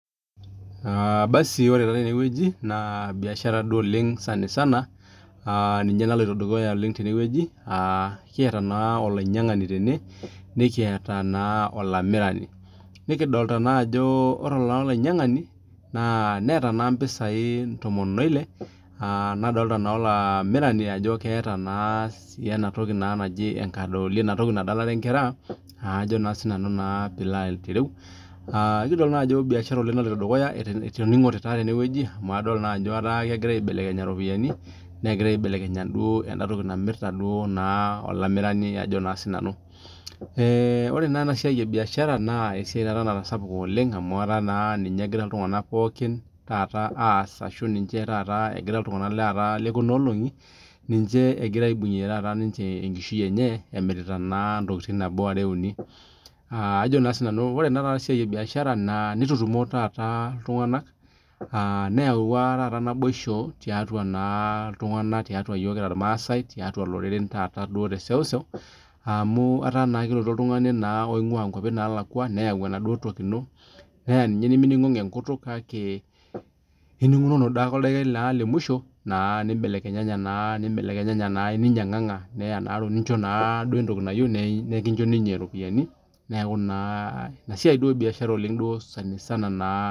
Aaa cs[basi]cs ore taa tene weuji naa biashara duo oleng' sanisana, aaa ninye naloito dukuya oleng' tene weuji, aaa kiata naa olainyang'ani nikiata olamirani, nikidolita naa ajo ore olainyang'ani, naa neeta naa mpisai intomoni oile nadolita naa olamirani ajo keeta naa, sii ena toki naa naji enkadooli inatoki nadalare inkera, ajo naa sinanu naa pee ilo aitereu, aaa eikidol ajo biashara naloito dukuya etoning'ote taa tene wueji amu adol naa ajo egira aibelekenya iropiyani negira duo aibelekeny duo ene toki namirita olamirani ajo naa sinanu. Eee ore naa ena siai ebiashara naa esia natasapuka oleng' amuu etaa naa ninye egira iltung'ana pookin taata aaas ashu ninje agira iltung'ana lekuunolong'i ninje egira ninje aibung'ie enkishui enye emirita naa ninje intokiting' nabo are uni ajo naa sinanu ore ena siai ebiashara nitutumo taata iltung'ana aaa neyawua naboisho tiatua naa iltung'ana, tiatua iyook kira ilmaasae tiatua na iloreren taata duo teseuseu, amuu etaa naa kelotu oltung'ani naa oing'ua naa inkuapi naalakua neyau enaduo toki ino neeya ninye nemining'ong'o enkutuk kake, inining'ong'o naake oldaikae lemuisho naa nimbelekenyanya naa nimbelekenyenye naa ninyang'ang'a neya nincho naaduo entoki nayeu nikincho ninye iropiyani, neeku naa ina siai duo biashara oleng' duo sanisana naa .